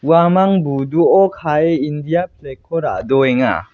uamang buduo kae india flag-ko ra·doenga.